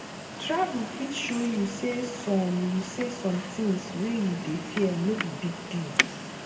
travel fit show you say some you say some things wey you dey fear no be big deal